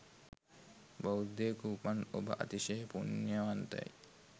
බෞද්ධයකුව උපන් ඔබ අතිශය පුණ්‍යවන්තයි.